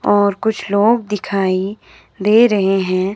और कुछ लोग दिखाई दे रहे हैं।